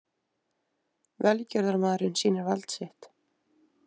Velgjörðarmaðurinn sýnir vald sitt